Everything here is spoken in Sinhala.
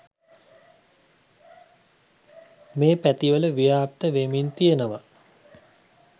මේ පැතිවල ව්‍යාප්ත වෙමින් තියනවා.